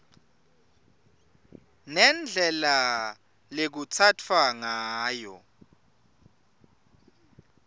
nendlela lekutsatfwa ngayo